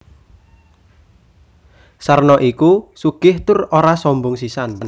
Sarno iku sugih tur ora sombong sisan